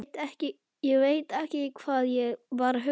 Ég veit ekki hvað ég var að hugsa.